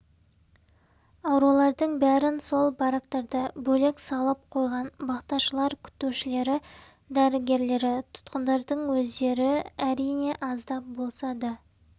аурулардың бәрін сол барактарда бөлек салып қойған бақташылар күтушілері дәрігерлері тұтқындардың өздері әрине аздап болса да